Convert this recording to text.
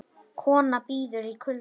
Kona bíður í kulda